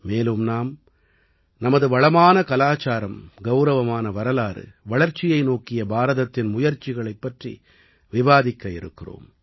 மேலும் நாம் நமது வளமான கலாச்சாரம் கௌரவமான வரலாறு வளர்ச்சியை நோக்கிய பாரதத்தின் முயற்சிகளைப் பற்றி விவாதிக்க இருக்கிறோம்